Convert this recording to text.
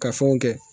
Ka fɛnw kɛ